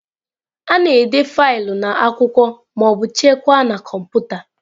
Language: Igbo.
A na-ede faịlụ n'akwụkwọ ma ọ bụ chekwaa na kọmputa.